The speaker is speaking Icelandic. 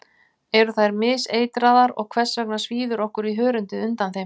Eru þær miseitraðar og hvers vegna svíður okkur í hörundið undan þeim?